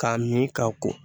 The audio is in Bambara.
K'a min k'a ko